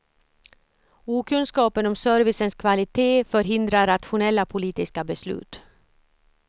Okunskapen om servicens kvalitet förhindrar rationella politiska beslut.